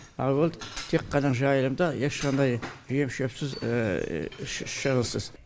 ал ол тек қана жайылымда ешқандай жем шөпсіз шығынсыз